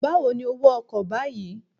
Báwo ni owó ọkọ̀ báyìí?